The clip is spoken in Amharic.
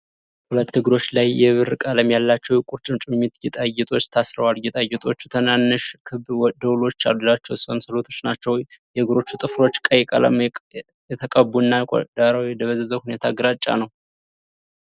ሁለት እግሮች ላይ የብር ቀለም ያላቸው የቁርጭምጭሚት ጌጣጌጦች ታስረዋል። ጌጣጌጦቹ ትናንሽ ክብ ደወሎች ያሏቸው ሰንሰለቶች ናቸው። የእግሮቹ ጥፍሮች ቀይ ቀለም የተቀቡና፣ ዳራው በደበዘዘ ሁኔታ ግራጫ ነው።